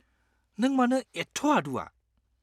-नों मानो एथ' आदुआ?